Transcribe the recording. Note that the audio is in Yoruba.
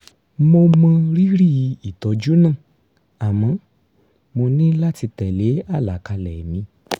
mo mọ rírì ìtọ́jú náà àmọ́ mo ní láti tẹ́lé àlàkalẹ̀ mi